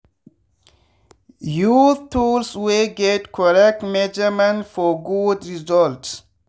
use tools wey get correct measurement for good results.